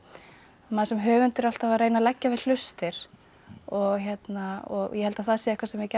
maður sem höfundur er alltaf að reyna að leggja við hlustir ég held að það sé eitthvað sem við gætum